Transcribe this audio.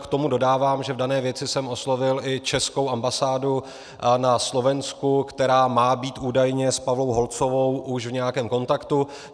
K tomu dodávám, že v dané věci jsem oslovil i českou ambasádu na Slovensku, která má být údajně s Pavlou Holcovou už v nějakém kontaktu.